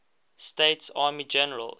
states army generals